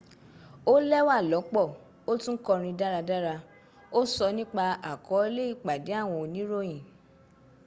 ó lẹ́wà lọ́pọ́ ó tún kọrin dáradára ó sọ́ nípa àkọọ́lẹ̀ ìpàdé àwọn oníròyìn